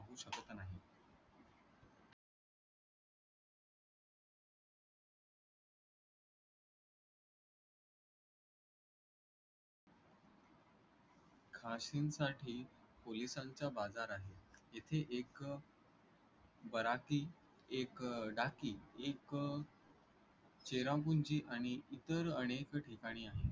खाशीम साठी पोलिसांचा बाजार आहे तिथे एक बराकी एक डाकी एक चेरापुंजी आणि इतर अनेक ठिकाणी आहेत